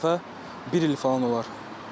Son dəfə bir il falan olar.